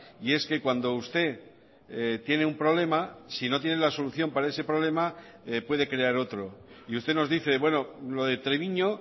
y es que cuando usted tiene un problema si no tiene la solución para ese problema puede crear otro y usted nos dice bueno lo de treviño